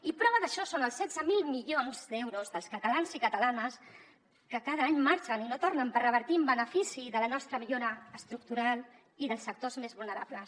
i prova d’això són els setze mil milions d’euros dels catalans i catalanes que cada any marxen i no tornen per revertir en benefici de la nostra millora estructural i dels sectors més vulnerables